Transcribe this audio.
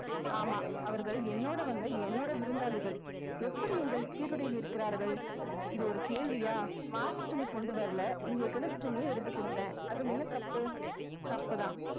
ஆமாம் அவர்கள் என்னோட வந்த என்னோட விருந்தாளிகள் எப்படி எங்கள் சீருடையில் நிற்கிறார்கள் இது ஒரு கேள்வியா மாற்றுத் துணி கொண்டு வரலை இங்கே கிடந்த துணியை எடுத்துக் கொடுத்தேன் அதுல என்ன தப்பு தப்பு தான்